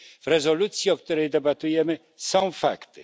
W rezolucji, o której debatujemy, są fakty.